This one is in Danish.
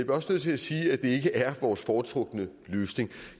også nødt til at sige at det ikke er vores foretrukne løsning